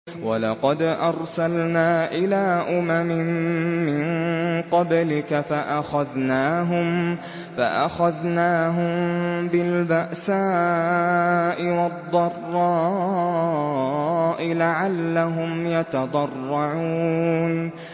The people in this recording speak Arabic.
وَلَقَدْ أَرْسَلْنَا إِلَىٰ أُمَمٍ مِّن قَبْلِكَ فَأَخَذْنَاهُم بِالْبَأْسَاءِ وَالضَّرَّاءِ لَعَلَّهُمْ يَتَضَرَّعُونَ